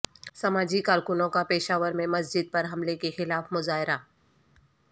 سماجی کارکنوں کا پشاور میں مسجد پر حملے کے خلاف مظاہرہ